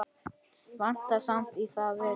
Vantar samt í það vitið.